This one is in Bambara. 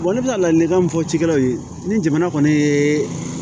ne bɛ ka ladilikan min fɔ cikɛlaw ye ni jamana kɔni ye